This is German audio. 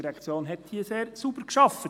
Die ERZ hat hier sehr sauber gearbeitet.